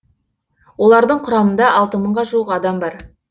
олардың құрамында алты мыңға жуық адам бар